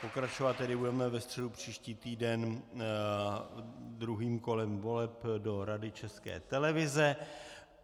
Pokračovat tedy budeme ve středu příští týden druhým kolem voleb do Rady České televize.